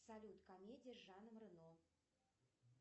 салют комедии с жаном рено